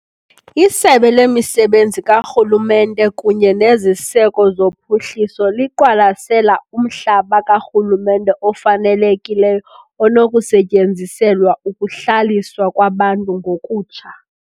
ISebe lemiSebenzi kaRhulumente kunye neZiseko zoPhuhliso liqwalasela umhlaba karhulumente ofanelekileyo onokusetyenziselwa ukuhlaliswa kwabantu ngokutsha.